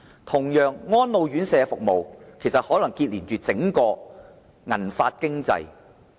同樣，安老院舍服務可能連結着整個銀髮經濟。